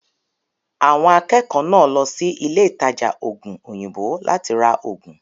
Àwọn akẹ́kọ̀ọ́ náà lọ sí ilé ìtajà ògùn òyìnbó láti ra ògùn.